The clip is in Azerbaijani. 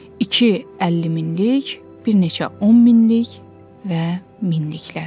İki 50 minlik, bir neçə 10 minlik və minliklər.